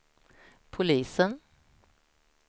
Polisen